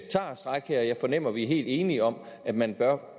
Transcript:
stræk her og jeg fornemmer at vi er helt enige om at man bør